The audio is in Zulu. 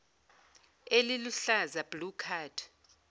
eliluhlaza blue card